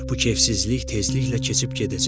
Bu kefsizlik tezliklə keçib gedəcək.